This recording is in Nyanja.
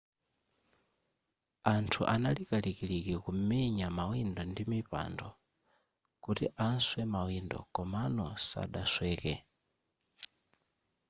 anthu anali kalikiliki kumenya mawindo ndi mipando kuti aswe mawindo komano sadasweke